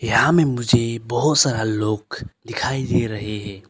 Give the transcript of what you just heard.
यहां में मुझे बहुत सारा लोग दिखाई दे रहे हैं।